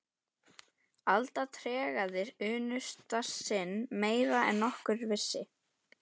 Alda tregaði unnusta sinn meira en nokkur vissi.